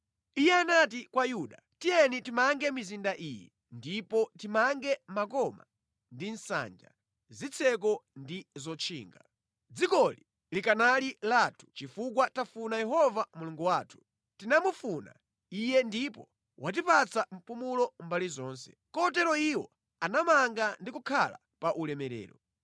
Iye anati kwa Yuda “Tiyeni timange mizinda iyi ndipo timange makoma ndi nsanja, zitseko ndi zotchinga. Dzikoli likanali lathu chifukwa tafuna Yehova Mulungu wathu; tinamufuna Iye ndipo watipatsa mpumulo mbali zonse.” Kotero iwo anamanga ndi kukhala pa ulemerero.